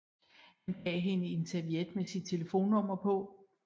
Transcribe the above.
Han gav hende en serviet med sit telefonnummer på